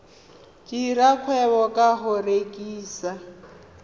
dira kgwebo ka go rekisa